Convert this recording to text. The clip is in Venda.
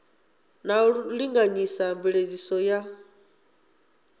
na u linganyisa mveledziso ya